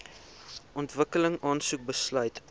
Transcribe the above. ontwikkeling aansoek besluit